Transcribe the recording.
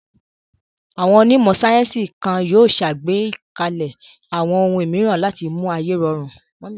Àwọn onímọ̀ sáyẹ́ńsì kan yóò ṣàgbékalẹ̀ àwọn ohun mìíràn láti mú ayé rọrùn.